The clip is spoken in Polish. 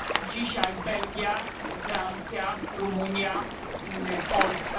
Dzisiaj Belgia, Francja, Rumunia i Polska.